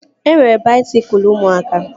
E nwere baisikụl ụmụaka